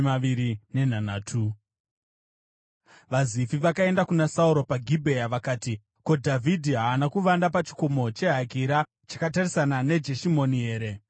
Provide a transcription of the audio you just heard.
VaZifi vakaenda kuna Sauro paGibhea vakati, “Ko, Dhavhidhi haana kuvanda pachikomo cheHakira, chakatarisana neJeshimoni here?”